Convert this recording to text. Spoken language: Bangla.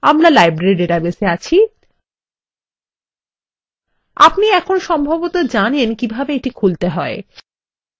আমরা লাইব্রেরী ডাটাবেসএ আছি আপনি এখন সম্ভবত জানেন কিভাবে এটি খুলতে হয়